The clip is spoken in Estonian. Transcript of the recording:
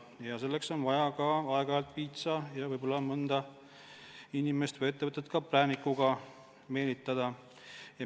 Aeg-ajalt on vaja ka piitsa ja võib-olla mõnda inimest või ettevõtet ka präänikuga meelitada.